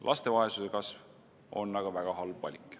Laste vaesuse kasv on aga väga halb valik.